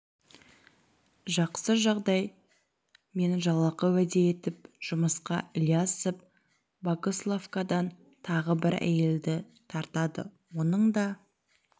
жақсы жағдай мен жалақы уәде етіп жұмысқа ілиясов богословкадан тағы бір әйелді тартады оның да